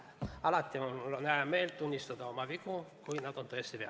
Alati mul on hää meel tunnistada oma vigu, kui nad on tõesti vead.